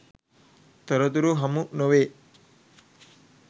තොරතුරු හමු නොවේ.